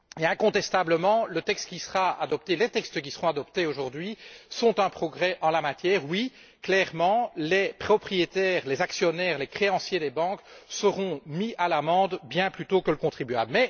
Incontestablement, les textes qui seront adoptés aujourd'hui sont un progrès en la matière. Clairement, les propriétaires, les actionnaires et les créanciers des banques seront mis à l'amende bien plus tôt que le contribuable.